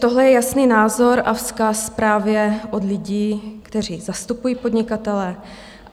Tohle je jasný názor a vzkaz právě od lidí, kteří zastupují podnikatele.